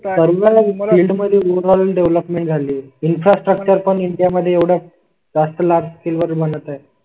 सर्व फील्ड मध्ये overall development झाली. इन्फ्रास्ट्रक्चर पण इंडिया मध्ये एवढा जास्त लागतील वर बनत आहे.